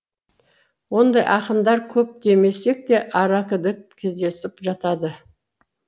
ондай ақындар көп демесек те аракідік кездесіп жатады